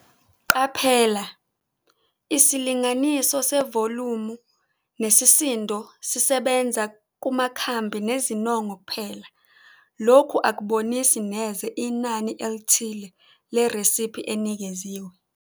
Qaphela - Isilinganiso sevolumu nesisindo sisebenza kumakhambi nezinongo kuphela. Lokhu akubonisi neze inani elithile leresiphi enikeziwe.